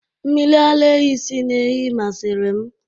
Mmiri ara ehi si na ehi masịrị m